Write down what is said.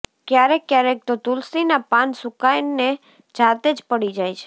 ક્યારેક ક્યારેક તો તુલસી નાં પાન સુકાઈ ને જાતે જ પડી જાય છે